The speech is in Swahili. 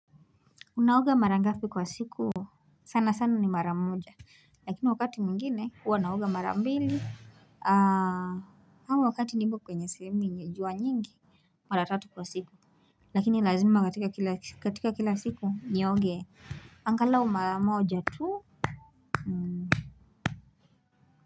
Unaoga mara ngapi kwa siku? Sana sana ni mara moja. Lakini wakati mwingine huwa naoga mara mbili au wakati nipo kwenye sehemu yenye jua nyingi, mara tatu kwa siku. Lakini lazima katika kila siku nioge angalau mara moja tu.